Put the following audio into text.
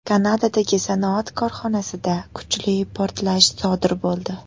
Kanadadagi sanoat korxonasida kuchli portlash sodir bo‘ldi.